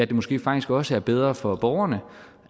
det måske faktisk også er bedre for borgerne